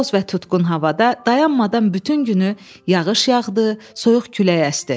Boz və tutqun havada dayanmadan bütün günü yağış yağdı, soyuq külək əsdi.